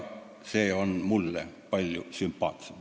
See on mulle palju sümpaatsem.